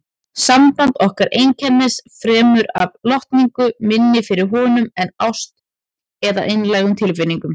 Samband okkar einkenndist fremur af lotningu minni fyrir honum en ást eða einlægum tilfinningum.